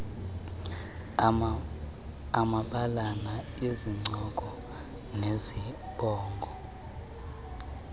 amabalana izincoko nezibongo